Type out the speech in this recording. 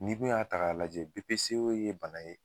N'i dun y'a ta k'a lajɛ BPCO ye bana ye